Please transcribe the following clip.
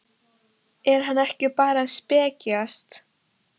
Er hann ekki bara að spekjast?